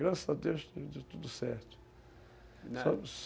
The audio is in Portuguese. Graças a Deus, deu tudo certo.